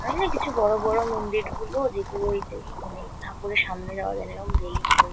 হয়না কিছু বড় বড় মন্দির গুলো যেগুলো ওই তো মানে ঠাকুরের সামনে যাওয়া যায় না এরম রেলিং রয়ে --